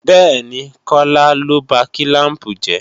Bẹ́ẹ̀ni, Kọ́lá ló ba kílàmpù jẹ́